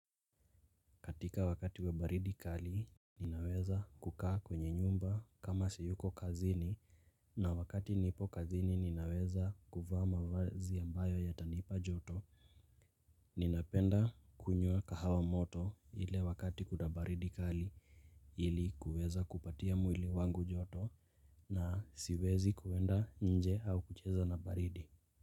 Katika wakati wa baridi kali, ninaweza kukaa kwenye nyumba kama siyuko kazini na wakati nipo kazini ninaweza kuvaa mavazi ambayo ya tanipa joto. Ninapenda kunywa kahawa moto ile wakati kuda baridi kali ili kuweza kupatia mwili wangu joto na siwezi kuenda nje au kucheza na baridi.